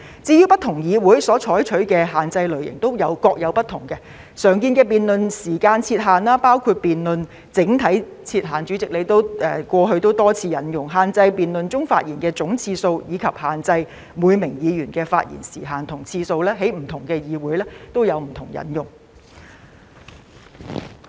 至於不同議會所採取的限制類型都各有不同，常見的辯論時間設限形式，包括為辯論設定整體設限——主席，你過去亦曾多次引用——限制在辯論中發言的總次數，以及限制每名議員的發言時限和次數；這些在不同議會中也是有引用的。